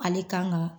Ale kan ka